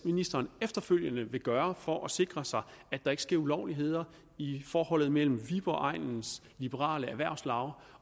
ministeren efterfølgende vil gøre for at sikre sig at der ikke sker ulovligheder i forholdet mellem viborg egnens liberale erhvervslaug